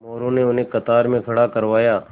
मोरू ने उन्हें कतार में खड़ा करवाया